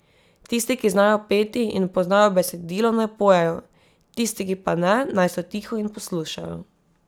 Tisti, ki znajo peti in poznajo besedilo, naj pojejo, tisti, ki pa ne, naj so tiho in poslušajo.